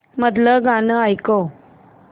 मधलं गाणं ऐकव